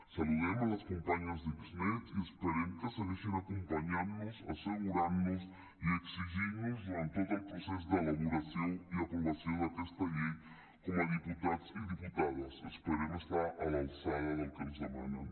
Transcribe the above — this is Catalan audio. saludem les companyes d’xnet i esperem que segueixin acompanyant nos assegurant nos i exigint nos durant tot el procés d’elaboració i aprovació d’aquesta llei com a diputats i diputades esperem estar a l’alçada del que ens demanen